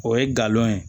O ye galon ye